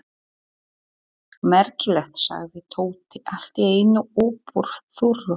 Merkilegt! sagði Tóti allt í einu upp úr þurru.